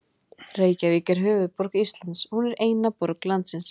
Reykjavík er höfuðborg Íslands. Hún er eina borg landsins.